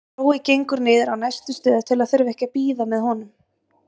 Brói gengur niður á næstu stöð til að þurfa ekki að bíða með honum.